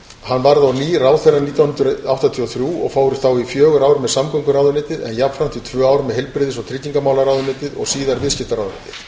hann varð á ný ráðherra nítján hundruð áttatíu og þrjú og fór þá í fjögur ár með samgönguráðuneytið en jafnframt í tvö ár með heilbrigðis og tryggingamálaráðuneytið og síðar viðskiptaráðuneytið